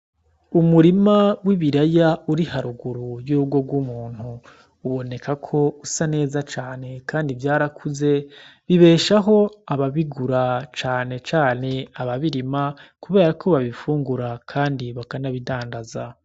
Umurima w'ibiraya uri haruguru y'urugo rw'umuntu, uboneka ko usa neza cane kandi vyarakuze bibeshaho ababigura cane cane ababirima, kuberako babifungura kandi bakanabidandaza.